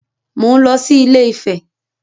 Mò ń lọ sí Ilé-Ifẹ̀